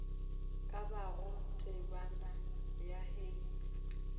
ka bago temana ya hei